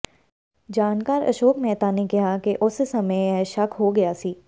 ਜਾਣਕਾਰ ਅਸ਼ੋਕ ਮੇਹਤਾ ਨੇ ਕਿਹਾ ਕਿ ਉਸੇ ਸਮੇਂ ਇਹ ਸ਼ੱਕ ਹੋ ਗਿਆ ਸੀ